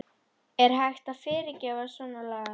Er hægt að fyrirgefa svona lagað?